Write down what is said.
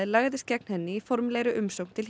lagðist gegn henni í formlegri umsögn til